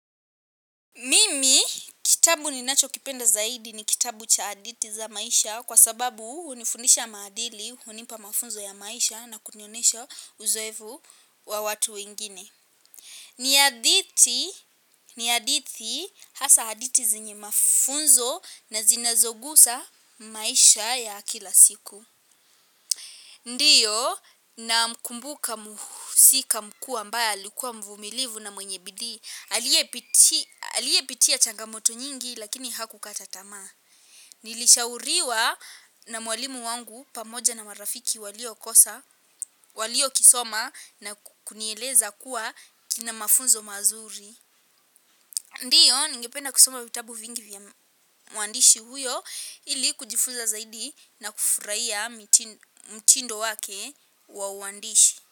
Mimi, kitabu ni nacho kipenda zaidi ni kitabu cha hadithi za maisha kwa sababu hunifundisha maadili, hunipa mafunzo ya maisha na kuniyonesha uzoevu wa watu wengine. Ni hadithi, ni hadithi hasa hadithi zinye mafunzo na zinazogusa maisha ya kila siku. Ndiyo na mkumbuka muhusika mkuu ambaye alikuwa mvumilivu na mwenye bidii. Aliyepitia changamoto nyingi lakini hakukata tamaa. Nilishauriwa na mwalimu wangu pamoja na marafiki walio kosa. Walio kisoma na kunieleza kuwa kina mafunzo mazuri. Ndiyo ningependa kisoma vitabu vingi vya mwandishi huyo ili kujifuza zaidi na kufurahia mtindo wake wa uandishi.